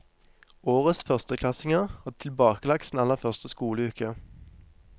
Årets førsteklassinger har tilbakelagt sin aller første skoleuke.